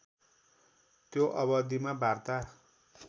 त्यो अवधिमा वार्ता